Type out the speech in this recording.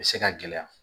U bɛ se ka gɛlɛya